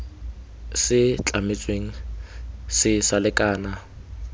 se tlametsweng se sa lekana